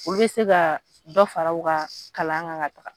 Olu bɛ se ka dɔ fara u ka kalan kan ka taa.